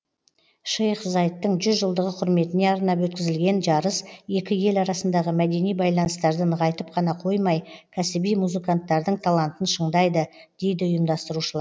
шейх заидтың жүз жылдығы құрметіне арнап өткізілген жарыс екі ел арасындағы мәдени байланыстарды нығайтып қана қоймай кәсіби музыканттардың талантын шыңдайды дейді ұйымдастырушылар